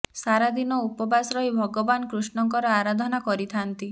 ସାରା ଦିନ ଉପବାସ ରହି ଭଗବାନ କୃଷ୍ଣଙ୍କର ଆରାଧନା କରିଥାନ୍ତି